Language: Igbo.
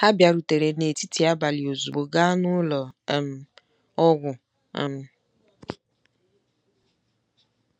Ha bịarutere n'etiti abalị ozugbo gaa n'ụlọ um ọgwụ um. ”